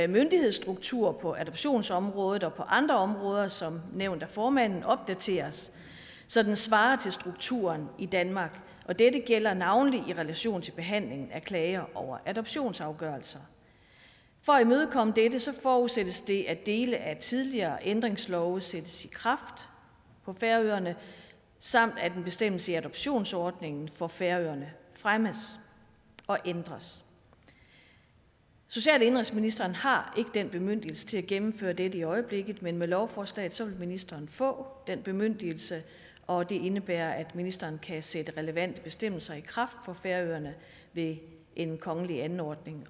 myndighedsstruktur på adoptionsområdet og på andre områder som nævnt af formanden opdateres så den svarer til strukturen i danmark dette gælder navnlig i relation til behandling af klager over adoptionsafgørelser for at imødekomme dette forudsættes det at dele af tidligere ændringslove sættes i kraft på færøerne samt at en bestemmelse i adoptionsordningen for færøerne fremmes og ændres social og indenrigsministeren har ikke den bemyndigelse til at gennemføre dette i øjeblikket men med lovforslaget vil ministeren få den bemyndigelse og det indebærer at ministeren kan sætte relevante bestemmelser i kraft for færøerne ved en kongelig anordning